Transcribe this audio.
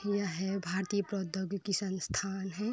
यह है भारतीय प्रौद्योगिकी संस्थान है।